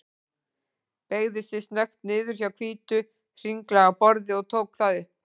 Beygði sig snöggt niður hjá hvítu, hringlaga borði og tók það upp.